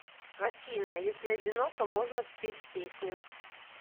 афина если одиноко можно спеть песню